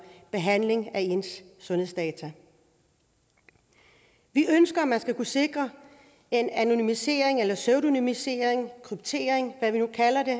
behandling af ens sundhedsdata vi ønsker at man skal kunne sikre en anonymisering eller pseudonymisering kryptering hvad vi nu kalder det